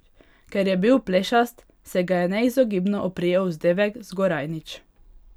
Ker je bil plešast, se ga je neizogibno oprijel vzdevek Zgorajnič.